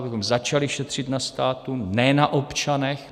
Abychom začali šetřit na státu, ne na občanech.